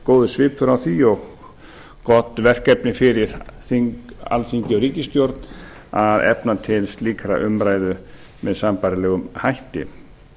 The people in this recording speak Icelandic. góður svipur á því og gott verkefni fyrir alþingi og ríkisstjórn að efna til slíkrar umræðu með sambærilegum hætti